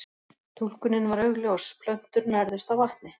Túlkunin var augljós, plöntur nærðust á vatni.